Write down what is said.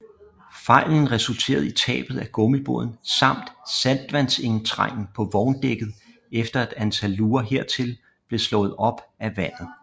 Fejlen resulterede i tabet af gummibåden samt saltvandsindtrængen på vogndækket efter et antal luger hertil blev slået op af vandet